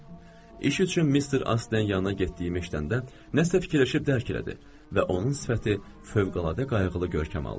İş üçün Mister Aslinin yanına getdiyimi eşidəndə nəsə fikirləşib dərk elədi və onun sifəti fövqəladə qayğılı görkəm aldı.